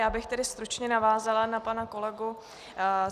Já bych tedy stručně navázala na pana kolegu.